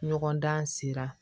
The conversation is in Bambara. Ɲɔgɔndan sera